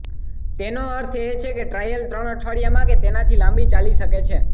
તેનો અર્થ એ કે ટ્રાયલ ત્રણ અઠવાડિયા કે તેનાંથી લાંબી ચાલી શકે છે